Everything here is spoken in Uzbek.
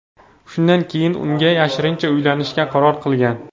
Shundan keyin unga yashirincha uylanishga qaror qilgan.